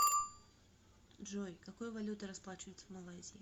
джой какой валютой расплачиваются в малайзии